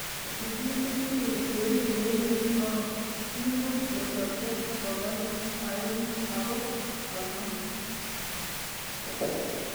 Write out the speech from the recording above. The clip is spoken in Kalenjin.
Kigimut biko cheribe emet boko l muut, kosobcho bokol aengu ago konom--